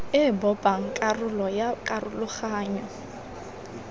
e bopang karolo ya karologanyo